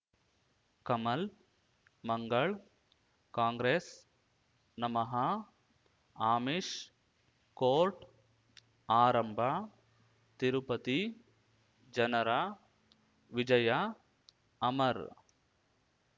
ಕಮಲ್ ಮಂಗಳ್ ಕಾಂಗ್ರೆಸ್ ನಮಃ ಆಮಿಷ್ ಕೋರ್ಟ್ ಆರಂಭ ತಿರುಪತಿ ಜನರ ವಿಜಯ ಅಮರ್